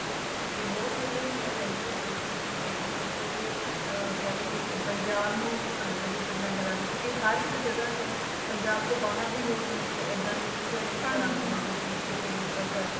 ਇਹ ਬਹੁਤ ਵਧੀਆ ਚੀਜ ਏ ਜੌ ਕਿ ਪੂਰੇ ਕਹਿਲੋ ਪੰਜਾਬ ਨੂੰ represent ਕਰਦਾ ਕਿਉਕਿ ਹਰ ਇਕ ਜਗ੍ਹਾ ਤੋ ਪੰਜਾਬ ਤੋਂ ਬਾਹਰ ਵੀ ਲੋਕ ਨੇ ਏਡਾ ਦੀ prewedding ਕਰਾਂਦੇ ਨੇ